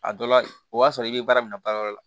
A dɔ la o b'a sɔrɔ i be baara minɛ baara yɔrɔ la